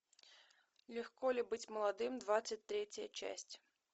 легко ли быть молодым двадцать третья часть